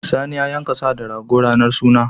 Sani ya yanka sa da rago a ranar suna.